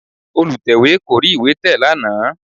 Olùtẹ̀wé kò rí ìwé tẹ̀ lánàá